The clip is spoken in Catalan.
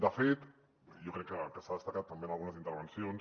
de fet jo crec que s’ha destacat també en algunes intervencions